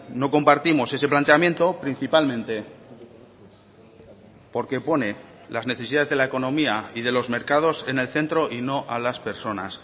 no compartimos ese planteamiento principalmente porque pone las necesidades de la economía y de los mercados en el centro y no a las personas